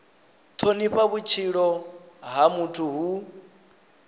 thonifha vhutshilo ha muthu hu